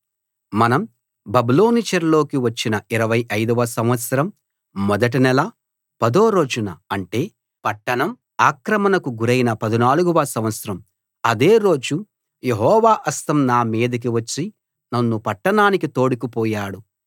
మనం బబులోను చెరలోకి వచ్చిన 25 వ సంవత్సరం మొదటి నెల పదో రోజున అంటే పట్టణం ఆక్రమణకు గురైన 14 వ సంవత్సరం అదే రోజు యెహోవా హస్తం నా మీదకి వచ్చి నన్ను పట్టణానికి తోడుకు పోయాడు